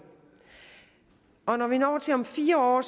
og når vi når til om fire år